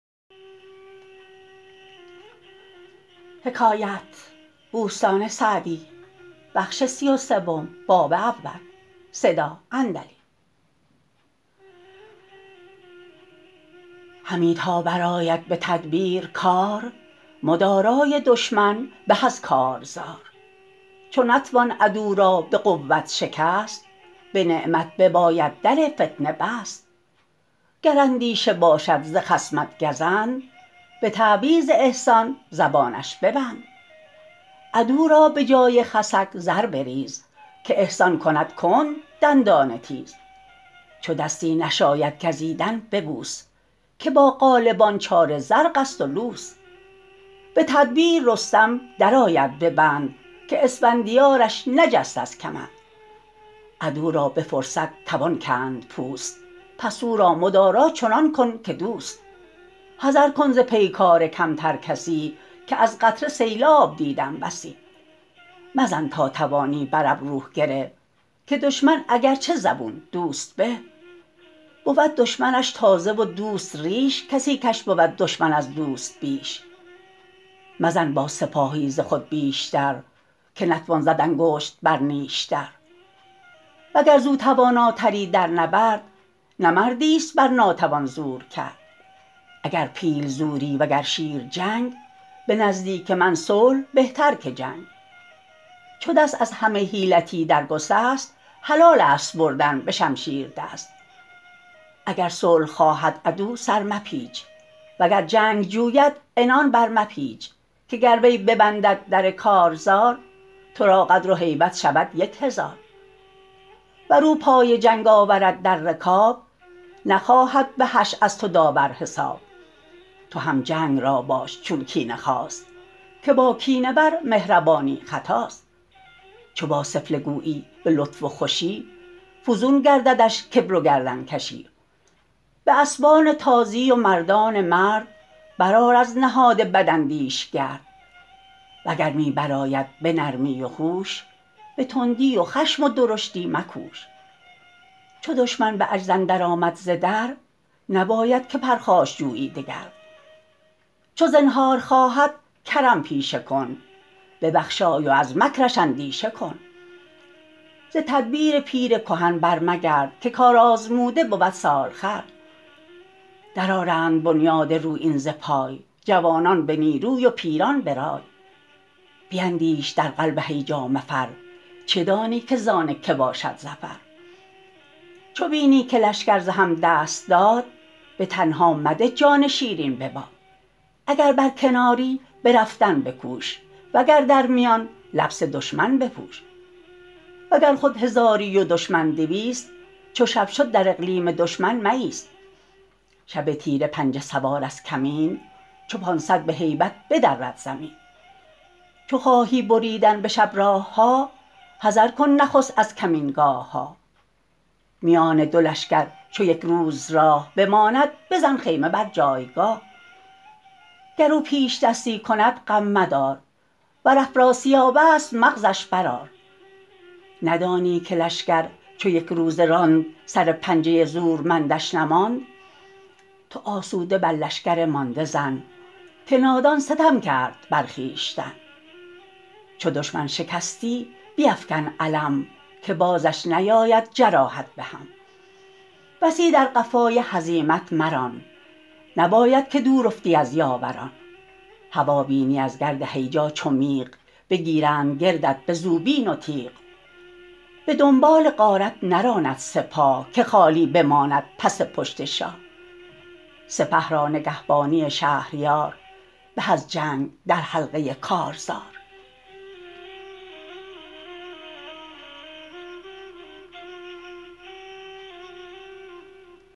همی تا برآید به تدبیر کار مدارای دشمن به از کارزار چو نتوان عدو را به قوت شکست به نعمت بباید در فتنه بست گر اندیشه باشد ز خصمت گزند به تعویذ احسان زبانش ببند عدو را به جای خسک زر بریز که احسان کند کند دندان تیز چو دستی نشاید گزیدن ببوس که با غالبان چاره زرق است و لوس به تدبیر رستم در آید به بند که اسفندیارش نجست از کمند عدو را به فرصت توان کند پوست پس او را مدارا چنان کن که دوست حذر کن ز پیکار کمتر کسی که از قطره سیلاب دیدم بسی مزن تا توانی بر ابرو گره که دشمن اگرچه زبون دوست به بود دشمنش تازه و دوست ریش کسی کش بود دشمن از دوست بیش مزن با سپاهی ز خود بیشتر که نتوان زد انگشت بر نیشتر وگر زو تواناتری در نبرد نه مردی است بر ناتوان زور کرد اگر پیل زوری وگر شیر چنگ به نزدیک من صلح بهتر که جنگ چو دست از همه حیلتی در گسست حلال است بردن به شمشیر دست اگر صلح خواهد عدو سر مپیچ وگر جنگ جوید عنان بر مپیچ که گر وی ببندد در کارزار تو را قدر و هیبت شود یک هزار ور او پای جنگ آورد در رکاب نخواهد به حشر از تو داور حساب تو هم جنگ را باش چون کینه خواست که با کینه ور مهربانی خطاست چو با سفله گویی به لطف و خوشی فزون گرددش کبر و گردن کشی به اسبان تازی و مردان مرد بر آر از نهاد بداندیش گرد و گر می بر آید به نرمی و هوش به تندی و خشم و درشتی مکوش چو دشمن به عجز اندر آمد ز در نباید که پرخاش جویی دگر چو زنهار خواهد کرم پیشه کن ببخشای و از مکرش اندیشه کن ز تدبیر پیر کهن بر مگرد که کارآزموده بود سالخورد در آرند بنیاد رویین ز پای جوانان به نیروی و پیران به رای بیندیش در قلب هیجا مفر چه دانی که زان که باشد ظفر چو بینی که لشکر ز هم دست داد به تنها مده جان شیرین به باد اگر بر کناری به رفتن بکوش وگر در میان لبس دشمن بپوش وگر خود هزاری و دشمن دویست چو شب شد در اقلیم دشمن مایست شب تیره پنجه سوار از کمین چو پانصد به هیبت بدرد زمین چو خواهی بریدن به شب راه ها حذر کن نخست از کمینگاه ها میان دو لشکر چو یک روز راه بماند بزن خیمه بر جایگاه گر او پیشدستی کند غم مدار ور افراسیاب است مغزش بر آر ندانی که لشکر چو یک روزه راند سر پنجه زورمندش نماند تو آسوده بر لشکر مانده زن که نادان ستم کرد بر خویشتن چو دشمن شکستی بیفکن علم که بازش نیاید جراحت به هم بسی در قفای هزیمت مران نباید که دور افتی از یاوران هوا بینی از گرد هیجا چو میغ بگیرند گردت به زوبین و تیغ به دنبال غارت نراند سپاه که خالی بماند پس پشت شاه سپه را نگهبانی شهریار به از جنگ در حلقه کارزار